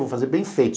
Vamos fazer bem feito.